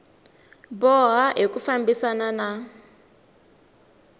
boha hi ku fambisana na